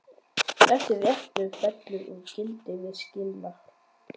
Þessi réttur fellur úr gildi við skilnað.